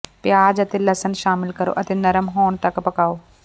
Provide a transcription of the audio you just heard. ਪਿਆਜ਼ ਅਤੇ ਲਸਣ ਸ਼ਾਮਿਲ ਕਰੋ ਅਤੇ ਨਰਮ ਹੋਣ ਤੱਕ ਪਕਾਉ